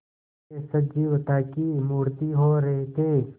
वे सजीवता की मूर्ति हो रहे थे